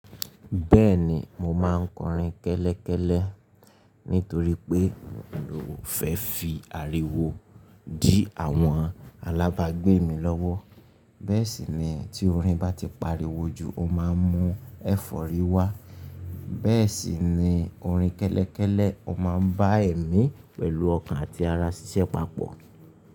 Bẹ́ẹ̀ni mo máa ń kọrin kẹ́lẹ́kẹ́lẹ́ nítorí pé mi ò fẹ́ fi ariwo dí àwọn alábàágbé mi lọ́wọ́. Bẹ́ẹ̀ sì ni tí orin bá ti pariwo jù, o máa ń mú ẹ̀fọ́rí wá. Bẹ́ẹ̀ sì ni orin kẹ́lẹ́kẹ́lẹ́, o máa ń bá èmi pẹ̀lú ọkàn àti ara ṣiṣẹ́ papọ̀